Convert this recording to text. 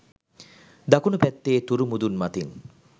දකුණු පැත්තේ තුරු මුදුන් මතින්